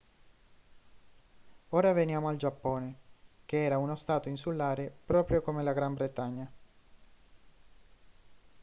ora veniamo al giappone che era uno stato insulare proprio come la gran bretagna